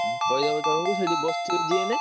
ଉଁ କହିଦବ ଜଣଙ୍କୁ ସେଇଠି ବସିଥିବେ ଯିଏ ହେଲେ।